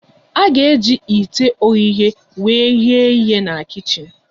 A ga-eji ite oghughe wee ghe ihe na kichin